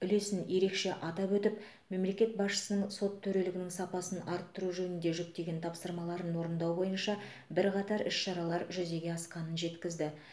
үлесін ерекше атап өтіп мемлекет басшысының сот төрелігінің сапасын арттыру жөнінде жүктеген тапсырмаларын орындау бойынша бірқатар іс шаралар жүзеге асқанын жеткізді